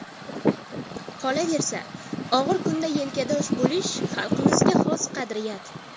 Qolaversa, og‘ir kunda yelkadosh bo‘lish xalqimizga xos qadriyat.